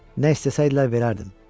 Nə istəsəydilər verərdim.